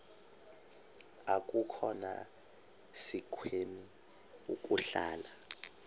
akukhona sikweni ukuhlala